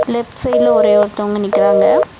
Left side ல ஒரே ஒருத்தவங்க நிக்கிறாங்க.